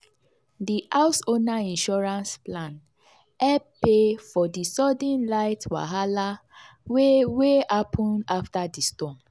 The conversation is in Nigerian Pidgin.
the house owner insurance plan help pay for the sudden light wahala wey wey happen after the storm.